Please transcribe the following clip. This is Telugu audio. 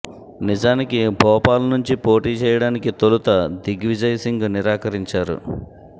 నిజానికి భోపాల్ నుంచి పోటీ చేయడానికి తొలుత దిగ్విజయ్ సింగ్ నిరాకరించారు